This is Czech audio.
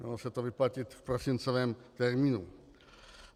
Mělo se to vyplatit v prosincovém termínu.